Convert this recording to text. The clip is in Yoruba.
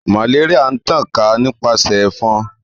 Malaria n tan ka nipasẹ efon.